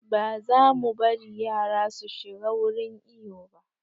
Ba za mu bari yara su shiga wurin iyo ba